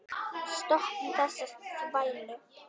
Stoppum þessa þvælu.